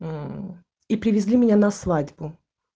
мм и привезли меня на свадьбу